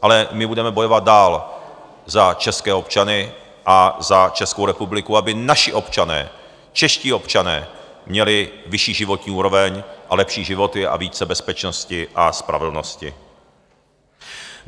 Ale my budeme bojovat dál za české občany a za Českou republiku, aby naši občané, čeští občané měli vyšší životní úroveň a lepší životy a více bezpečnosti a spravedlnosti.